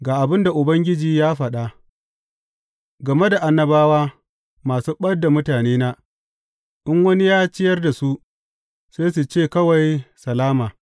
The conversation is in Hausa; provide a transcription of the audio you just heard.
Ga abin da Ubangiji ya faɗa, Game da annabawa masu ɓad da mutanena, in wani ya ciyar da su, sai su ce akwai salama’